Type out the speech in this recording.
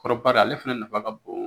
Kɔrɔbari ale fɛnɛ nafa ka bon